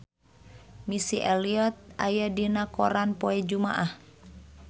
Missy Elliott aya dina koran poe Jumaah